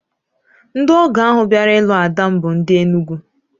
Ndị ọgọ ahụ bịara ilu ada m bụ ndị Enugwu